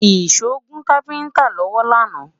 ìsọ gùn kafinta lọwọ lànà